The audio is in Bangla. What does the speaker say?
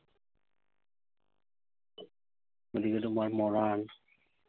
ওদিকে তোমার মরাণ।